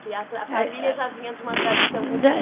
Que a família já vinha de uma tradição.